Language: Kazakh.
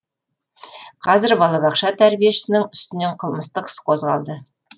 қазір балабақша тәрбиешісінің үстінен қылмыстық іс қозғалды